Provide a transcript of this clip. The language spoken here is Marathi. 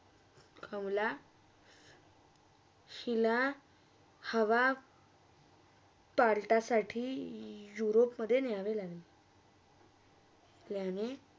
कमला हिला हवा पालठासाठी यूरोपमधे नियावे लागले त्यांना